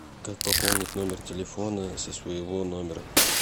как пополнить номер телефона со своего номера